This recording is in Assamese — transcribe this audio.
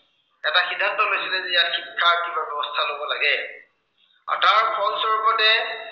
আৰু তাৰ ফলস্বৰূপতে